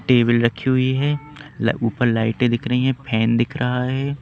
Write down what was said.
Table रखी हुई है ऊपर लाइटें दिख रही हैं फैन दिख रहा है।